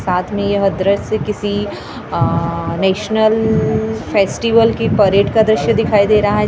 में यह दृश्य किसी आआआआ नेशनल अअअ फेस्टिवल की परेड का द्रश्य दिखाई दे रहा रहा है जहाँ हमें ---